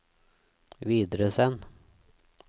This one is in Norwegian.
videresend